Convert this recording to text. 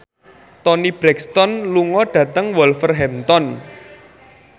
Toni Brexton lunga dhateng Wolverhampton